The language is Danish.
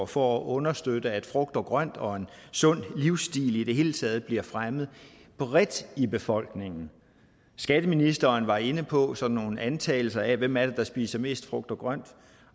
for at understøtte at frugt og grønt og en sund livsstil i det hele taget bliver fremmet bredt i befolkningen skatteministeren var inde på sådan nogle antagelser af hvem det er der spiser mest frugt og grønt